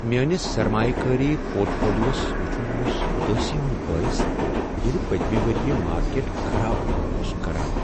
میٲنِس سرمایہٕ کٲری پورٹ فولِیو وس ووچُھن اوٚس ادٲسی ہُند بٲعث ییلِہ پتمہ ؤرۍ یِہ مارکیٹ خراب کٲم اوٚس کران ۔